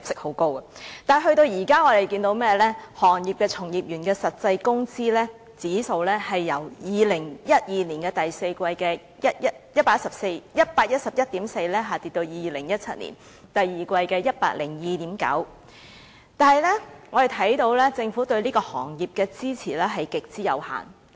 可是，到了今天，物流業從業員的實際工資指數，已由2012年第四季的 111.4 下跌至2017年第二季的 102.9， 而政府對此行業的支持也極為有限。